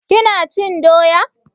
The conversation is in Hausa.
Ki na cin doya?